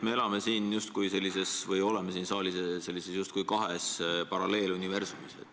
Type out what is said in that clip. Mulle näib, et me oleme siin saalis justkui kahes paralleeluniversumis.